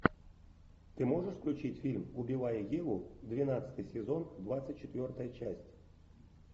ты можешь включить фильм убивая еву двенадцатый сезон двадцать четвертая часть